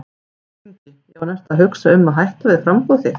Björn Ingi: Já en ertu að hugsa um að hætta við framboðið þitt?